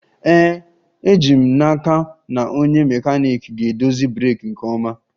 Ee, eji m n'aka na onye mekaniiki ga-edozi breeki nke ọma